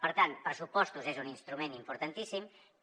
per tant pressupostos és un instrument importantíssim que